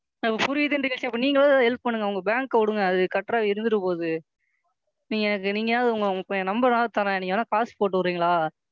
எனக்கு புரியுது நீங்க ஏதாவது Help பண்ணுங்க உங்க Bank ஐ விடுங்க அது கட்டுறது அது இருந்துட்டு போகுது. நீங்க எனக்கு நீங்க என் Number வேணா தற்றேன் நீங்க வேணா காசு போட்டு விடுறீங்களா?